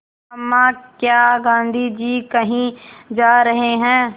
अम्मा क्या गाँधी जी कहीं जा रहे हैं